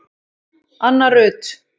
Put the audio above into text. Anna Rut